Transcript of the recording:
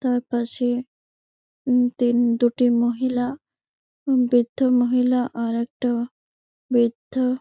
তার পাশে তিন দুটি মহিলা বির্ধা মহিলা আর একটা বির্ধ।